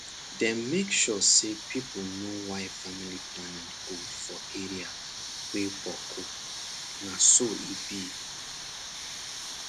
dem make sure say people knw why family planning good for area wey boku na so e be